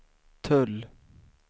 tull